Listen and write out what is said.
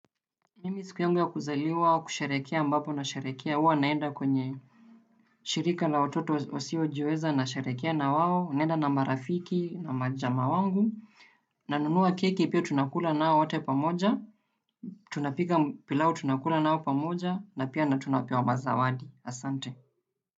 Mimi siku yangu ya kuzaliwa kusherehekea ambapo nasherehekea huwa naenda kwenye shirika la wototo wasiojiweza nasherehekea na wao, naenda na marafiki, na majamaa wangu. Nanunua keki pia tunakula nao wote pamoja. Tunapika pilau tunakuna nao pamoja na pia tunawapea zawadi, asante.